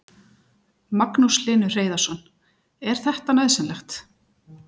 Magnús Hlynur Hreiðarsson: Er þetta nauðsynlegt?